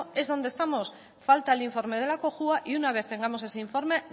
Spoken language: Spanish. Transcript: es donde estamos falta el informe de la cojua y una vez tengamos ese informe